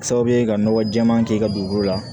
Sababu ye ka nɔgɔ jɛɛman k'i ka dugukolo la